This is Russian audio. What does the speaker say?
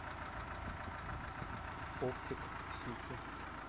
оптик сити